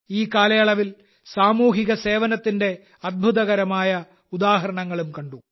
ഈ കാലയളവിൽ സാമൂഹിക സേവനത്തിന്റെ അത്ഭുതകരമായ ഉദാഹരണങ്ങളും കണ്ടു